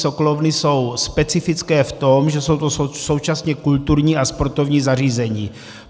Sokolovny jsou specifické v tom, že jsou to současně kulturní a sportovní zařízení.